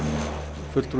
fulltrúi